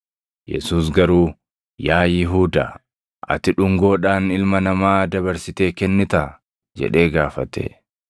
Yesuus garuu, “Yaa Yihuudaa, ati dhungoodhaan Ilma Namaa dabarsitee kennitaa?” jedhee gaafate.